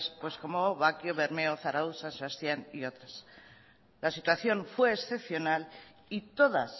pues como bakio bermeo zarautz san sebastián y otras la situación fue excepcional y todas